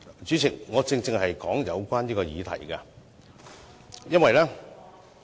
主席，我正是就有關議題發言，因為......